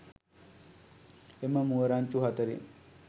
එම මුව රංචු හතරෙන්